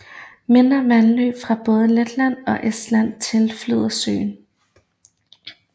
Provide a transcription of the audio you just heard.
Mindre vandløb fra både Letland og Estland tilflyder søen